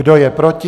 Kdo je proti?